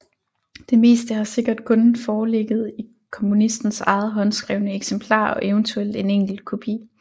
Det meste har sikkert kun foreligget i komponistens eget håndskrevne eksemplar og eventuelt en enkelt kopi